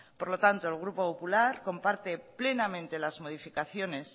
por lo tanto el grupo popular comparte plenamente las modificaciones